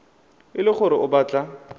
e le gore o batla